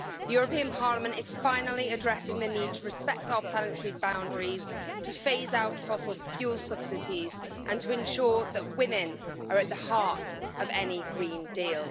The European Parliament is finally addressing the need to respect our planetary boundaries, to phase out fossil fuel subsidies, and to ensure that women are at the heart of any green deal.